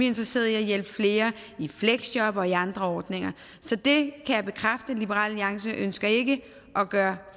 interesseret i at hjælpe flere i fleksjob og i andre ordninger så det kan jeg bekræfte liberal alliance ønsker ikke at gøre